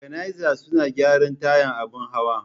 Bakanaiza suna gyaran tayan abin hawa.